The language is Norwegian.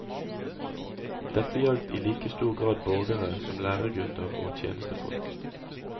Dette gjaldt i like stor grad borgere som læregutter og tjenestefolk.